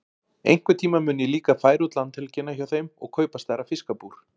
Einhvern tíma mun ég líka færa út landhelgina hjá þeim og kaupa stærra fiskabúr.